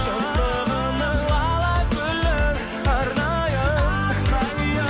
жастығымның лала гүлін арнайын